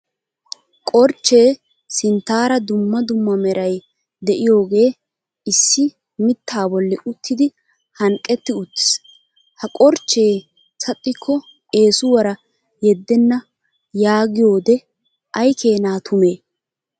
Korchche sinttaara dumma dumma meray deiyoge issi mitta bolli uttidi hanqqetti uttiis. Ha korchche saxikko eeswuaara yedena yaagiyode aykena tume?